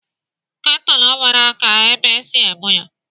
Ketụlụ nwere aka ebe esi ebu ya.